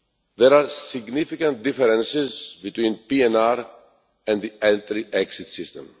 There are significant differences between PNR and the Entry Exit System.